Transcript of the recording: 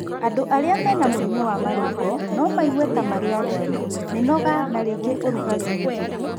Andũ arĩa mena mũrimũ wa marũngo no maigue ta marĩ arwaru, mĩnoga na rĩngĩ ũrugarĩ mũingĩ